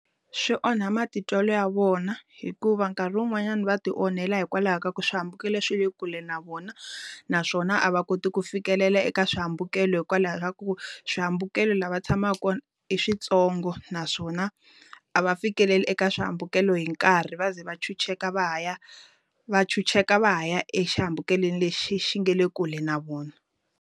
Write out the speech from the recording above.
Swi onha matitwelo ya vona, hikuva nkarhi wun'wanyana va ti onhela hikwalaho ka ku swihambukelo leswi le kule na vona. Naswona a va koti ku fikelela eka swihambukelo hikwalaho ka ku, swi swihambukelo laha tshamaku kona i swi ntsongo. Naswona, a va fikeleli eka swihambukelo hi nkarhi va ze va ntshunxeka va ha ya, va ntshunxeka va ha ya exihambukelweni lexi xi nga le kule na vona.